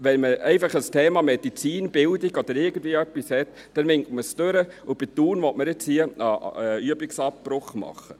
Wenn man ein Thema wie Medizin, Bildung oder irgendetwas hat, dann winkt man es einfach durch, und bei Thun will man jetzt einen Übungsabbruch machen.